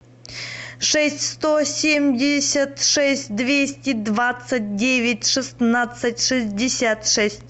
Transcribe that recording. шесть сто семьдесят шесть двести двадцать девять шестнадцать шестьдесят шесть